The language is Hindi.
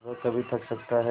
वह कभी थक सकता है